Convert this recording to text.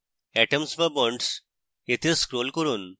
atoms/bonds এ scroll করুন